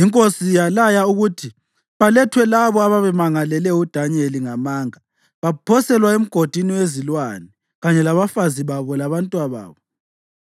Inkosi yalaya ukuthi balethwe labo ababemangalele uDanyeli ngamanga baphoselwa emgodini wezilwane kanye labafazi babo labantwababo.